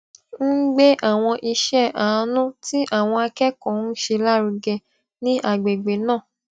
ń gbé àwọn iṣẹ àánú tí àwọn akẹkọọ ń ṣe lárugẹ ní agbègbè náà